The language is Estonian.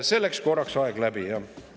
Selleks korraks aeg läbi, jah.